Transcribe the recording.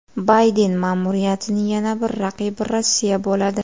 Bayden ma’muriyatining yana bir raqibi Rossiya bo‘ladi.